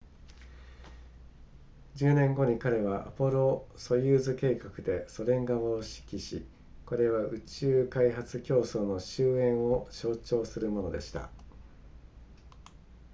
10年後に彼はアポロソユーズ計画でソ連側を指揮しこれは宇宙開発競争の終焉を象徴するものでした